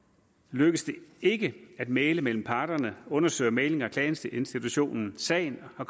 lykkes det ikke at mægle mellem parterne undersøger mæglings og klageinstitutionen sagen og